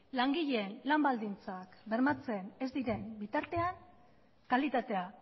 langileen lan baldintzak bermatzen ez diren bitartean kalitatea